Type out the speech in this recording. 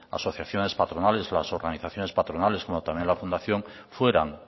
asociaciones patronales las organizaciones patronales como también la fundación fueran